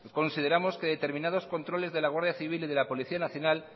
consideramos que determinados controles de la guardia civil y de la policía nacional